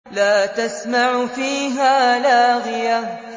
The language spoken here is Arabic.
لَّا تَسْمَعُ فِيهَا لَاغِيَةً